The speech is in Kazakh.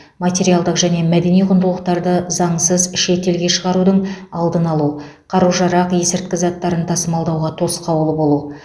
материалдық және мәдени құндылықтарды заңсыз шет елге шығарудың алдын алу қару жарақ есірткі заттарын тасымалдауға тосқауыл болу